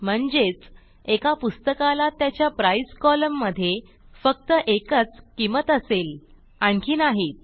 म्हणजेच एका पुस्तकाला त्याच्या प्राइस कोलम्न मधे फक्त एकच किंमत असेल आणखी नाहीत